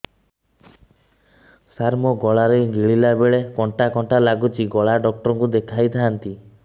ସାର ମୋ ଗଳା ରେ ଗିଳିଲା ବେଲେ କଣ୍ଟା କଣ୍ଟା ଲାଗୁଛି ଗଳା ଡକ୍ଟର କୁ ଦେଖାଇ ଥାନ୍ତି